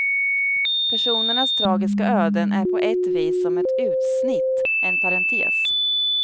Personernas tragiska öden är på ett vis som ett utsnitt, en parentes.